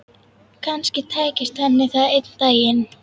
Kannski tækist henni það einn daginn.